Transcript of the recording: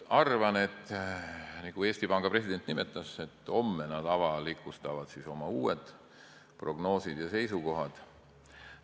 Nagu Eesti Panga president nimetas, homme nad avalikustavad oma uue prognoosi ja uued seisukohad.